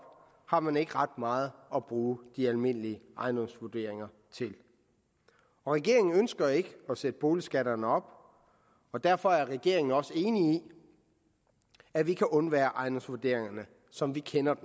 har man ikke ret meget at bruge de almindelige ejendomsvurderinger til regeringen ønsker ikke at sætte boligskatterne op og derfor er regeringen også enig i at vi kan undvære ejendomsvurderingerne som vi kender